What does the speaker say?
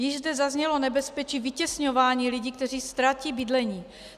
Již zde zaznělo nebezpečí vytěsňování lidí, kteří ztratí bydlení.